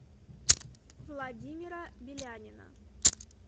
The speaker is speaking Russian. владимира белянина